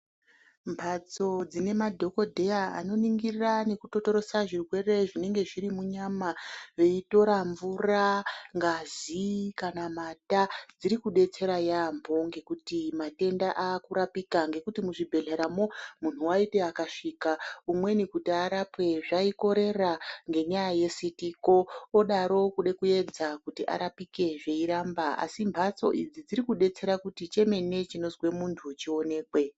Mbatso dzine madhokodheya anoningira nekutotorosa zvirwere zvinenge zviri munyama veitora mvura, ngazi kana mata dzirikudetsera yaamho ngekuti matenda akurapika ngekuti muzvibhehleramo munhu waiti akasvika umweni kuti arapwe zvaikorera ngenyaya yesitiko odaro kude kuedza kuti arapike zveiramba asi mhatso idzi dzirikudetsera kuti chemene chinozwe muntu chionekwe.